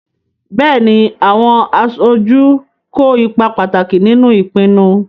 Bẹ́ẹ̀ni, àwọn aṣojú kó ipa pàtàkì nínú ìpinnu.